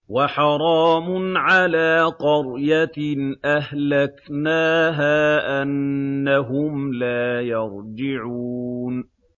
وَحَرَامٌ عَلَىٰ قَرْيَةٍ أَهْلَكْنَاهَا أَنَّهُمْ لَا يَرْجِعُونَ